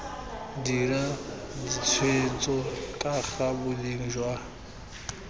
dira ditshwetso kaga boleng jwa